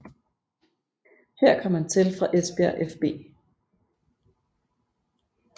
Her kom han til fra Esbjerg fB